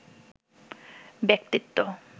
ব্যক্তিত্ব